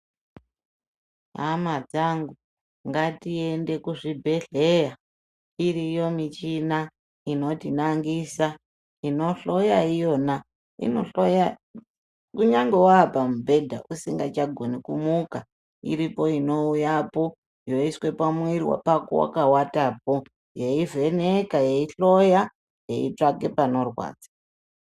Hama dzangu ngatiende kuzvibhedhleya, iriyo michina inotinangisa, inohloya iyona. Inohloya kunyange wapamubhedha usingachagoni kumuka. Iripo inouyapo yoiswa pamwiri pako wakawatapo yeivheneka yeihloya yeitsvake panorwadza.